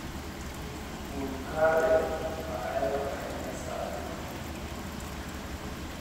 tug kare ma ahero ahinya saa adek otieno